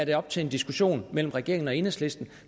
være op til en diskussion mellem regeringen og enhedslisten